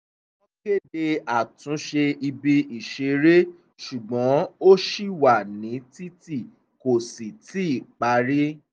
wọ́n kéde àtúnṣe ibi ìṣeré ṣùgbọ́n ó ṣì wà nítìtì kò sì tíì parí